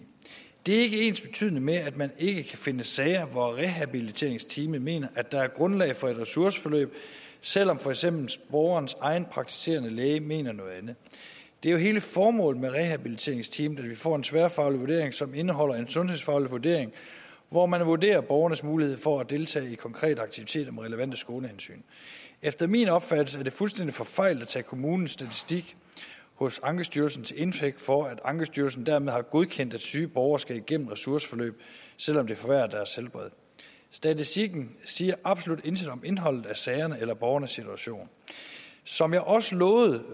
det er ikke ensbetydende med at man ikke kan finde sager hvor rehabiliteringsteamet mener at der er grundlag for et ressourceforløb selv om for eksempel borgerens egen praktiserende læge mener noget andet det er jo hele formålet med rehabiliteringsteamet at vi får en tværfaglig vurdering som indeholder en sundhedsfaglig vurdering hvor man vurderer borgerens mulighed for at deltage i konkrete aktiviteter med relevante skånehensyn efter min opfattelse er det fuldstændig forfejlet at tage kommunens statistik hos ankestyrelsen til indtægt for at ankestyrelsen dermed har godkendt at syge borgere skal igennem ressourceforløb selv om det forværrer deres helbred statistikken siger absolut intet om indholdet af sagerne eller borgernes situation som jeg også lovede